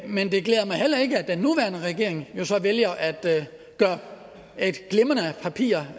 men det glæder mig heller ikke at den nuværende regering jo så vælger at gøre et glimrende papir